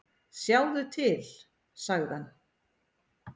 """Sjáðu til, sagði hann."""